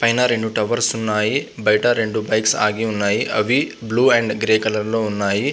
పైనా రెండు టవర్స్ ఉన్నాయి . బయట రెండు బైక్స్ ఆగి ఉన్నాయి. బ్లూ అండ్ గ్రే కలర్ లో ఉన్నాయి.